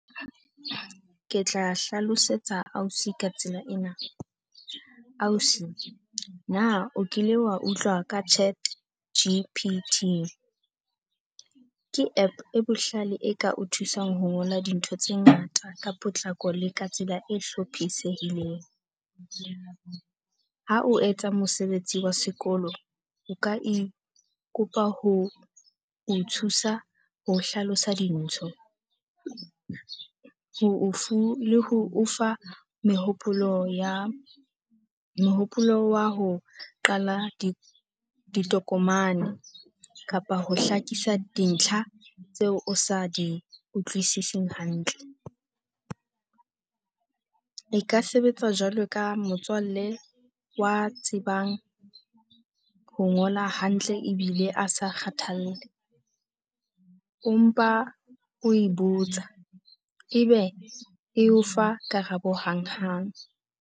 Ke tla hlalosetsa ausi ka tsela ena. Ausi, na o kile wa utlwa ka ChatG_P_T? Ke app e bohlale e ka o thusang ho ngola dintho tse ngata ka potlako le ka tsela e hlophisehileng. Ha o etsa mosebetsi wa sekolo o ka e kopa ho o thusa ho hlalosa dintho. Mehopolo ya mehopolo wa ho qala di ditokomane kapa ho hlakisa dintlha tseo o sa di utlwisiseng hantle. E ka sebetsa jwalo ka motswalle wa tsebang ho ngola hantle. Ebile a sa kgathalle empa o botsa ebe e o fa karabo hanghang.